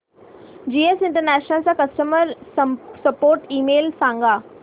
GS international चा customer support email सांग